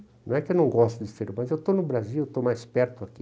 Não é que eu não goste de, mas eu estou no Brasil, estou mais perto aqui.